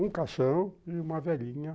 Um caixão e uma velinha.